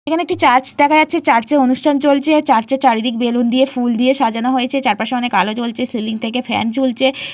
এখানে একটি চার্চ দেখা যাচ্ছে চার্চ -এ অনুষ্ঠান চলছে। চার্চ -এর চারিদিকে বেলুন দিয়ে ফুল দিয়ে সাজানো হয়েছে চারপাশে অনেক আলো জ্বলছে সিলিং থেকে ফ্যান ঝুলছে।